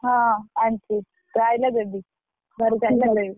ହଁ, ଆଣିଛି ତୁ ଆସିଲେ ଦେବି, ଘର କୁ ଆସିଲେ ଦେବି।